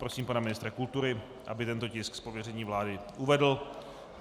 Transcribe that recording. Prosím pana ministra kultury, aby tento tisk z pověření vlády uvedl.